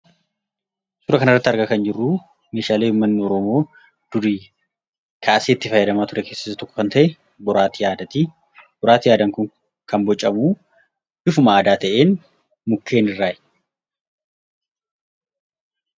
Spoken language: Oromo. Suuraa kanarratti argaa kan jirru meeshaalee uummanni oromoo durii kaasee itti fayyadamaa ture keessa isa tokko kan ta'e, boraatii aadaati. Boraatiin aadaa kun kan bocamu bifuma aadaa ta'een mukeen irraati.